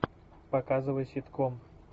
показывай ситком